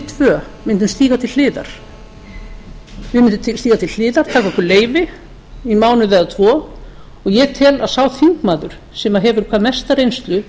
tvö mundum stíga til hliðar taka okkur leyfi í mánuð eða tvo og ég tel að sá þingmaður sem hefur hvað mesta reynslu